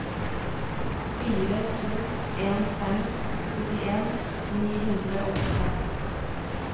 fire to en fem syttien ni hundre og åttifem